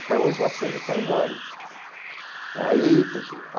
Hoje o acervo está enorme aí.